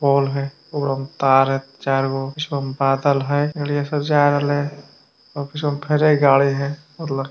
पोल है ओकरा में तार है चार गो कुछ बादल है गड़िया सब जारहले है और कुछ में भरे गाड़ी है और--